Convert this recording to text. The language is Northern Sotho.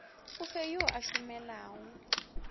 o fe yo a šomelago